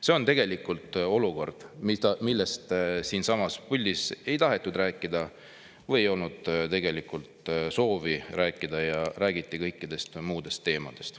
See on tegelikult olukord, millest siinsamas puldis ei tahetud rääkida või ei olnud tegelikult soovi rääkida, ja räägiti kõikidest muudest teemadest.